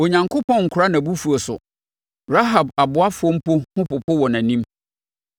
Onyankopɔn nkora nʼabufuo so; Rahab aboafoɔ mpo ho popo wɔ nʼanim.